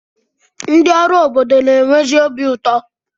Ndị ọrụ obodo na-enwezi obi ụtọ.